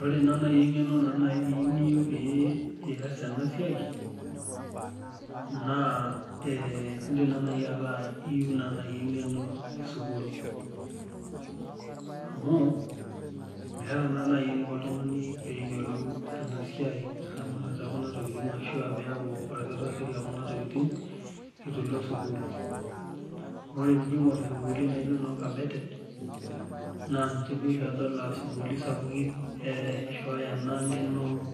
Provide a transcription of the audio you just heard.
Ore naa naaji engeno niyieu niyiolou pee eiyas ena siai, naa indim naa naaji ataasa iyieu naaji engeno esukul. Amu meeta naa naji eniko oltungani pee eyiolou ena siai eramatata ekuna tokiting ashua pee iyaku orkitari lekuna tokiting eitu ilo sukul. Ore pee ijo aingor sukuulini naijo noo kabete ,naa ninche oshi adol aa sukuulini sapukin eishooyo ena ngeno